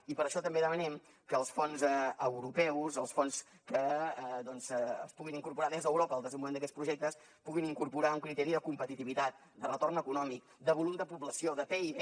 i per això també demanem que els fons europeus els fons que es puguin incorporar des d’europa al desenvolupament d’aquests projectes puguin incorporar un criteri de competitivitat de retorn econòmic de volum de població de pib